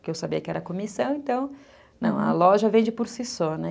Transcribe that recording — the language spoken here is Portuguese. Porque eu sabia que era comissão, então... Não, a loja vende por si só, né?